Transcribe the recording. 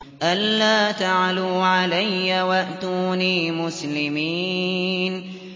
أَلَّا تَعْلُوا عَلَيَّ وَأْتُونِي مُسْلِمِينَ